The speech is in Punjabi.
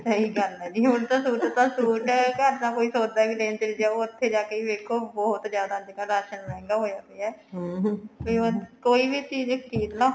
ਸਹੀ ਗੱਲ ਹੈ ਜੀ ਹੁਣ ਤਾਂ suit ਤਾਂ suit ਐ ਘਰ ਤਾਂ ਕੋਈ ਸੋਚਦਾ ਵੀ ਨੀ ਐਈ ਚਲੇ ਜਾਉ ਉੱਥੇ ਜਾਕੇ ਹੀ ਵੇਖੋ ਬਹੁਤ ਜਿਆਦਾ ਅੱਜਕਲ ਰਾਸ਼ਨ ਮਹਿੰਗਾ ਹੋਇਆ ਪਿਆ ਵੀ ਹੁਣ ਕੋਈ ਵੀ ਚੀਜ਼ ਖਰੀਦ ਲੋ